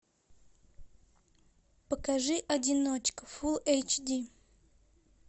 покажи одиночка фулл эйч ди